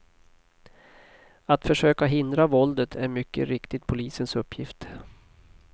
Att försöka hindra våldet är mycket riktigt polisens uppgift.